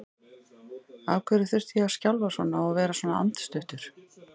Af hverju þurfti ég að skjálfa svona og vera svona andstuttur?